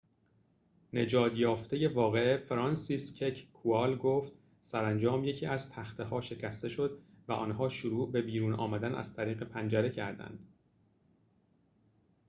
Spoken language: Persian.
نجات یافته واقعه فرانسیسکک کوال گفت سرانجام یکی از تخته ها شکسته شد و آنها شروع به بیرون آمدن از طریق پنجره کردند